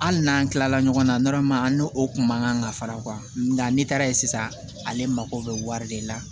Hali n'an tilala ɲɔgɔn na an n'o kun man kan ka fara nka ne taara yen sisan ale mako bɛ wari de la